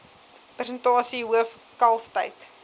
persentasie hoof kalftyd